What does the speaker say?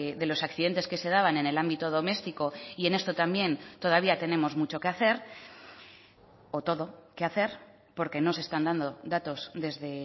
de los accidentes que se daban en el ámbito doméstico y en esto también todavía tenemos mucho que hacer o todo que hacer porque no se están dando datos desde